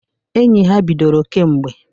Enyi ha bidoro kemgbe.